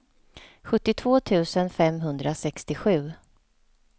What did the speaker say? sjuttiotvå tusen femhundrasextiosju